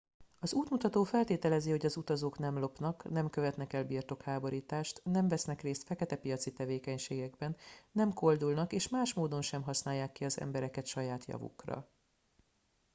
az útmutató feltételezi hogy az utazók nem lopnak nem követnek el birtokháborítást nem vesznek részt feketepiaci tevékenységekben nem koldulnak és más módon sem használják ki az embereket saját javukra